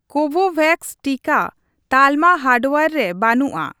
ᱠᱳᱵᱷᱳᱵᱷᱮᱠᱥ ᱴᱤᱠᱟᱹ ᱛᱟᱞᱢᱟ ᱦᱟᱨᱰᱣᱭᱟᱨ ᱨᱮ ᱵᱟᱹᱱᱩᱜᱼᱟ ᱾